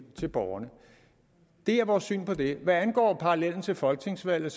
til borgerne det er vores syn på det hvad angår parallellen til folketingsvalget